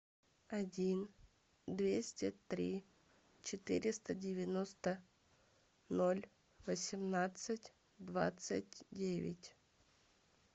один двести три четыреста девяносто ноль восемнадцать двадцать девять